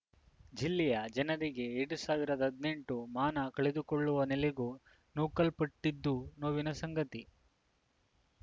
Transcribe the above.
ಜಿಲ್ಲೆಯ ಜನರಿಗೆ ಎರಡ್ ಸಾವಿರದ ಹದಿನೆಂಟು ಮಾನ ಕಳೆದುಕೊಳ್ಳುವ ನೆಲೆಗೂ ನೂಕಲ್ಪಟ್ಟಿದ್ದು ನೋವಿನ ಸಂಗತಿ